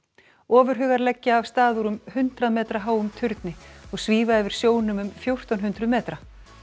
ofurhugar leggja af stað úr um hundrað metra háum turni og svífa yfir sjónum um fjórtán hundruð metra